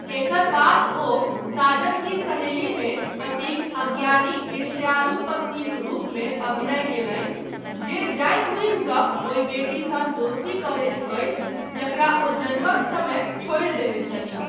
एकर बाद, ओ 'साजन की सहेली'मे पतिक अज्ञानी, ईर्ष्यालु पत्नीक रूपमे अभिनय कयलनि, जे जानबूझि कऽ ओहि बेटीसँ दोस्ती करैत अछि जकरा ओ जन्मक समय छोड़ि देने छलीह।